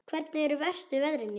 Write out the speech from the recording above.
Hvernig eru verstu veðrin hérna?